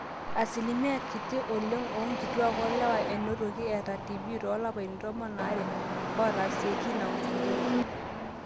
asilimia kiti oleng oonkituaak o lewa enotoki eeta tb toolapaitin tomon aare ootaasieki ina uchunguzi